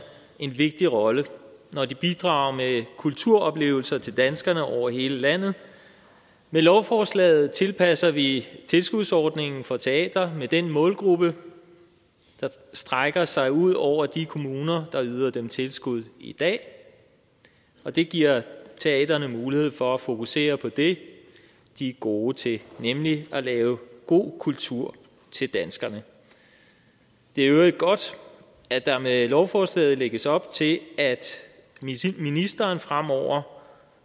en vigtig rolle når de bidrager med kulturoplevelser til danskerne over hele landet med lovforslaget tilpasser vi tilskudsordningen for teatre til den målgruppe der strækker sig ud over de kommuner der yder dem tilskud i dag og det giver teatrene mulighed for at fokusere på det de er gode til nemlig at lave god kultur til danskerne det er i øvrigt godt at der med lovforslaget lægges op til at ministeren fremover